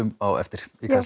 á eftir